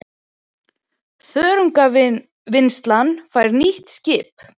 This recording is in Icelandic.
Þörungavinnslan fær nýtt skip